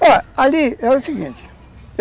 Olha, ali era o seguinte.